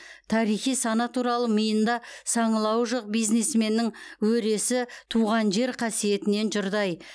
тарихи сана туралы миында саңылауы жоқ бизнесменнің өресі туған жер қасиетінен жұрдай